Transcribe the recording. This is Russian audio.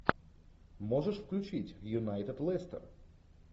можешь включить юнайтед лестер